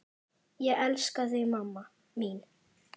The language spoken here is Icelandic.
Ég elska þig mamma mín.